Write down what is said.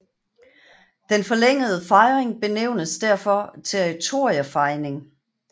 Den forlængede fejning benævnes derfor territoriefejning